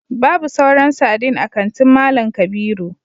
babu sauran sardine a kantin mallam kabiru